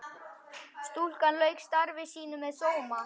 Stúlkan lauk starfi sínu með sóma.